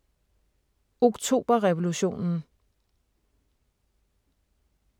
Oktoberrevolutionen